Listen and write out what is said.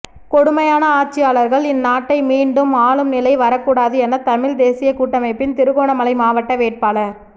கொடுமையான ஆட்சியாளர்கள் இந் நாட்டை மீண்டும் ஆளும் நிலை வரக்கூடாது என தமிழ் தேசியக் கூட்டமைப்பின் திருகோணமலை மாவட்ட வேட்பாளர்